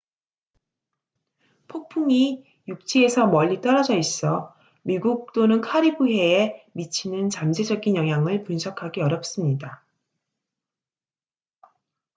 폭풍이 육지에서 멀리 떨어져 있어 미국 또는 카리브해에 미치는 잠재적인 영향을 분석하기 어렵습니다